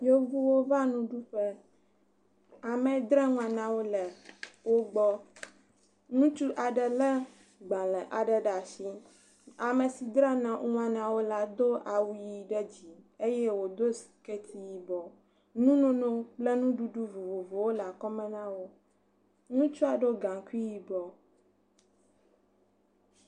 Yevuwo va nuɖuƒe, ame yi dzra nua na wo le wo gbɔ. Ŋutsu aɖe lé agbalẽ aɖe ɖe asi. Ame si dzra nua na wo le do awu ʋi ɖe dzi eye wodo siketi yibɔ. Nunono kple nuɖuɖu vovovowo le akɔme na wo. Ŋutsua ɖo gaŋkui yibɔ.